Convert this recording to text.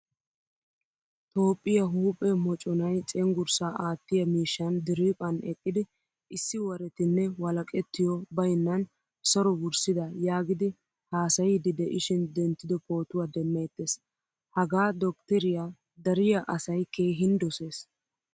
Toophphiyaa huuphphe mocconay cenggurssa aattiya miishshan diriphphan eqqidi issi warettine walaqqettiyo baynnan saro wurssida yaagidi haasayidi de'ishin denttido pootuwaa demmetees. Hagaa dokteriyaa dariya asay keehin dosees.